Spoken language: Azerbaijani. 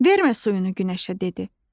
"Vermə suyunu günəşə" dedi.